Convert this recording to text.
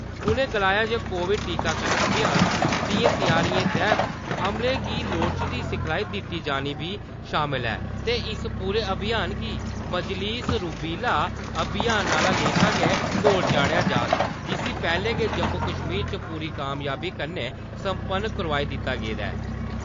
उ'नें गलाया जे कोविड टीकाकरण अभियान दियें त्यारियें तैह्त अमले गी लोड़चदी सिखलाई दित्ता जाना बी शामल ऐ ते इस पूरे अभियान गी मजीलस रूबेला अभियान आह्‌ला लेखा गै तोढ़ चाढ़ेआ जाह्ग जिसी पैह्ले गै जम्मू कश्मीर च पूरी कामयाबी कन्नै संपन्न करोआई दित्ता गेदा ऐ।